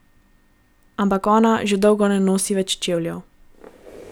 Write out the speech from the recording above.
Ampak ona že dolgo ne nosi več čevljev.